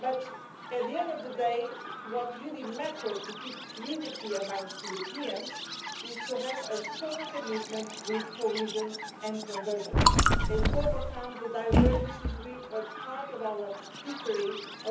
But at the end of the day, what really matters in order to keep unity among Europeans is to have a strong commitment with cohesion and convergence and to overcome the divergences which have been part of our history in